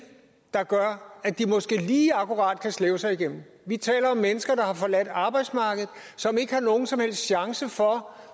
der gør at de måske lige akkurat kan slæbe sig igennem vi taler om mennesker der har forladt arbejdsmarkedet og ikke har nogen som helst chance for